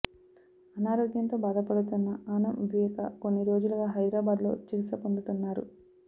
అనారోగ్యంతో బాధపడుతున్న ఆనం వివేకా కొన్ని రోజులుగా హైదరాబాద్లో చికిత్స పొందుతున్నారు